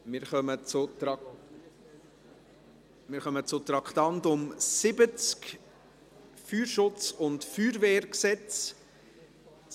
Wir kommen zum Traktandum 70, Feuerschutz- und Feuerwehrgesetz (FFG).